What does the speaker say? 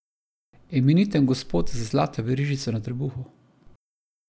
Imeniten gospod z zlato verižico na trebuhu.